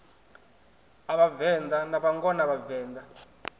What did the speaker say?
ha vhavenḓa na vhangona vhavenḓa